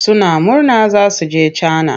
Suna murna za su je Cana.